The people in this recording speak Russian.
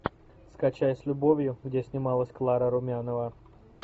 скачай с любовью где снималась клара румянова